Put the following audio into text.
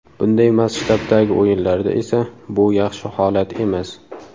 Bunday masshtabdagi o‘yinlarda esa bu yaxshi holat emas.